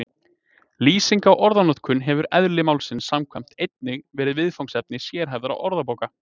Lýsing á orðanotkun hefur eðli málsins samkvæmt einnig verið viðfangsefni sérhæfðra orðabóka.